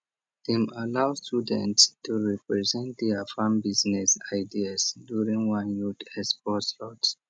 dem allow students to present their farm business ideas during one youth expo slot